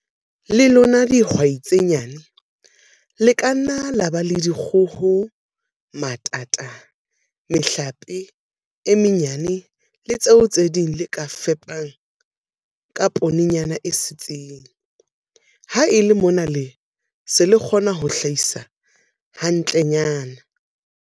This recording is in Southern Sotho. Le lona dihwai tse nyane, le ka nna la ba le dikgoho, matata, mehlape e menyane le tse ding tseo le ka di fepang ka poonenyana e setseng, ha e le mona le se le kgona ho hlahisa hantlenyana.